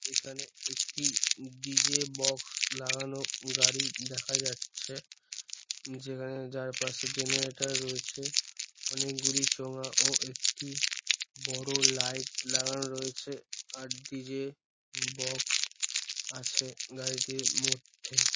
এখানে একটি ডি.জে. বাক্স লাগানো গাড়ি দেখা যাচ্ছে যেখানে যার পাশে জেনারেটার রয়েছে অনেকগুলি চোঙা ও একটি বড় লাইট লাগানো রয়েছে আর ডি.জে. বাক্স আছে গাড়িটির মধ্যে।